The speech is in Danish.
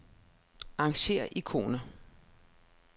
Arrangér ikoner.